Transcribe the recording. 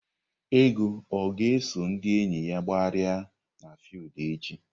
Ego ọ ga-eso ndị enyi ya gbagharịa n'fiudu echi?